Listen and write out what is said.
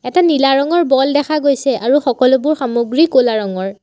এটা নীলা ৰঙৰ বল দেখা গৈছে আৰু সকলোবোৰ সামগ্ৰী ক'লা ৰঙৰ।